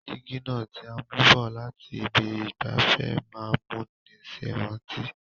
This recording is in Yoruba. Dígí náà ti a mú bọ̀ láti ibi ìgbafẹ́ má n múni sèrántí